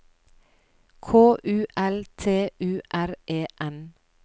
K U L T U R E N